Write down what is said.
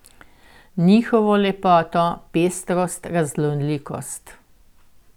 Njihovo lepoto, pestrost, raznolikost.